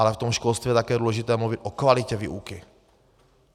Ale v tom školství je také důležité mluvit o kvalitě výuky.